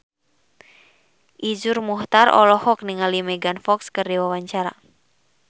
Iszur Muchtar olohok ningali Megan Fox keur diwawancara